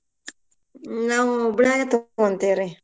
ನಾವು ಹುಬ್ಳ್ಯಾಗ ತಗೋನ್ತೇವ್ರಿ.